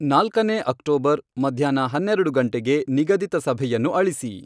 ನಾಲ್ಕನೇ ಅಕ್ಟೋಬರ್ ಮಧ್ಯಾಹ್ನ ಹನ್ನೆರಡು ಗಂಟೆಗೆ ನಿಗದಿತ ಸಭೆಯನ್ನು ಅಳಿಸಿ.